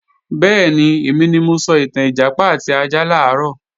Bẹ́ẹ̀ni, èmi ni mo sọ ìtàn Ìjàpá àti ajá làárọ̀